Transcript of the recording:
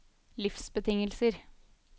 livsbetingelser